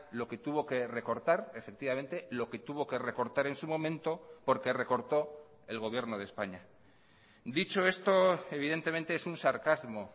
lo que tuvo que recortar efectivamente lo que tuvo que recortar en su momento porque recortó el gobierno de españa dicho esto evidentemente es un sarcasmo